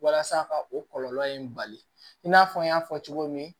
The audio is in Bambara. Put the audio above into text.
Walasa ka o kɔlɔlɔ in bali i n'a fɔ n y'a fɔ cogo min